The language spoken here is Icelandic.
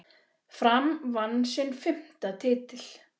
Fram vann sinn fimmta titil.